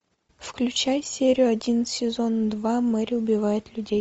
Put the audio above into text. включай серию один сезон два мэри убивает людей